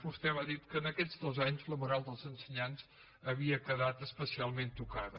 vostè m’ha dit que en aquests dos anys la moral dels ensenyants havia quedat especialment tocada